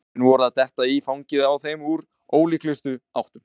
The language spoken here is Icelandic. Svörin voru að detta í fangið á þeim úr ólíklegustu áttum.